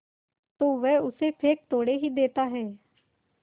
तो वह उसे फेंक थोड़े ही देता है